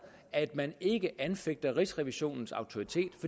at man ikke anfægter rigsrevisionens autoritet